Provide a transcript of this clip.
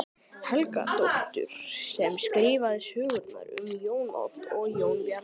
Helgadóttur sem skrifaði sögurnar um Jón Odd og Jón Bjarna.